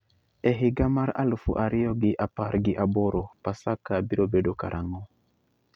E higa mar alufu ariyo gi apar gi aboro paska biro bedo karang'o